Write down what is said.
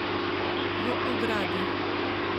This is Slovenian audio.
V ogradi?